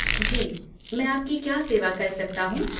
जी, मैं आपकी क्या सेवा कर सकता हूँ?